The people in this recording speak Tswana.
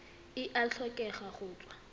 e a tlhokega go tswa